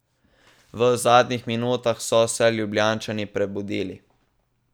V zadnjih minutah so se Ljubljančani prebudili.